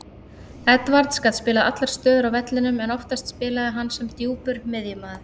Edwards gat spilað allar stöður á vellinum en oftast spilaði hann sem djúpur miðjumaður.